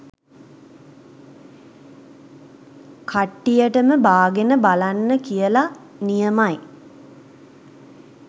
කට්ටියටම බාගෙන බලන්න කියල.නියමයි.